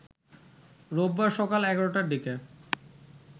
রোববার সকাল ১১টার দিকে